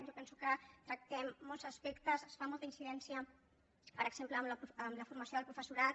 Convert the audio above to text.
jo penso que tractem molts aspectes es fa molta incidència per exemple en la formació del professorat